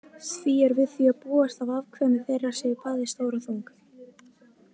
Því er við því að búast að afkvæmi þeirra séu bæði stór og þung.